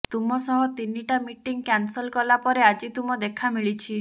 ତୁମସହ ତିନିଟା meeting cancel କଲା ପରେ ଆଜି ତୁମ ଦେଖା ମିଳିଛି